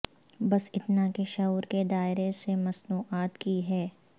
بس اتنا کہ شعور کے دائرے سے مصنوعات کی ہے ہے